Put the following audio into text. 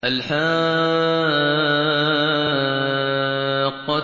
الْحَاقَّةُ